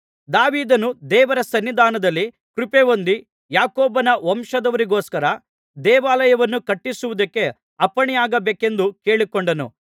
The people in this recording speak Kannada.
ದಾವೀದನು ದೇವರ ಸನ್ನಿಧಾನದಲ್ಲಿ ಕೃಪೆ ಹೊಂದಿ ಯಾಕೋಬನ ವಂಶದವರಿಗೋಸ್ಕರ ದೇವಾಲಯವನ್ನು ಕಟ್ಟಿಸುವುದಕ್ಕೆ ಅಪ್ಪಣೆಯಾಗಬೇಕೆಂದು ಕೇಳಿಕೊಂಡನು